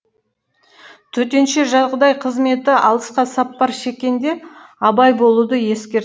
төтенше жағдай қызметі алысқа сапар шеккенде абай болуды ескерт